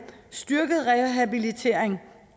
styrket rehabilitering